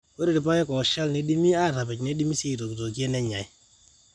ore irpaek ooshal neidimi aatapej neidimi sii aaitokitokie nenyai